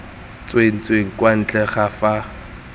tsentsweng kwa ntle ga fa